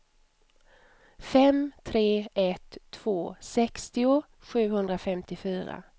fem tre ett två sextio sjuhundrafemtiofyra